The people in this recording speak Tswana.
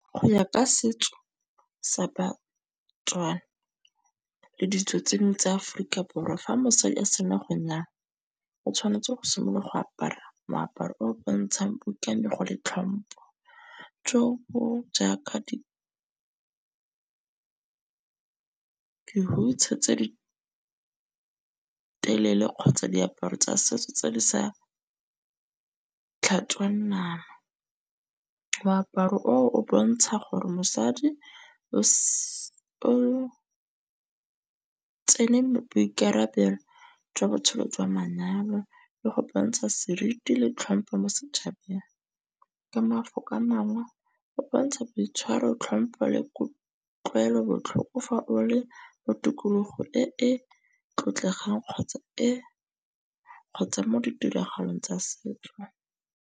Go ya ka setso sa ba-Tswana le ditso tse dingwe tsa Aforika Borwa fa mosadi a sena go nyaa o tshwanetse go simolola go apara moaparo o o bontshang le tlhompo. Jo bo jaaka tse di telele kgotsa diaparo tsa setso tse di sa . Moaparo o o bontsha gore mosadi o o tsene boikarabelo jwa botshelo jwa manyalo le go bontsha seriti le tlhompho mo setšhabeng. Ka mafoko a mangwe o bontsha boitshwaro, tlhompho le kutlwelobotlhoko, fa o le mo tikologo e e tlotlegang kgotsa e kgotsa mo ditiragalong tsa setso.